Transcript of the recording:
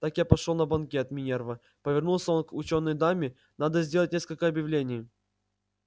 так я пошёл на банкет минерва повернулся он к учёной даме надо сделать несколько объявлений